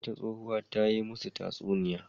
Wata tsohuwa ta yi masu tatsuniya.